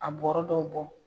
A bɔra dɔw bɔ